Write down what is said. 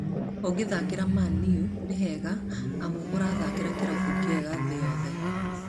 Ũgĩthakĩra Man-U nĩ hega amu ũrathakĩra kĩrabu kĩega thĩ yothe